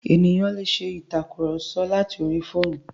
Ènìyàn lè ṣe ìtàkurọ̀sọ láti orí fóònù.